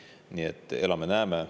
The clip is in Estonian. Nii et elame, näeme.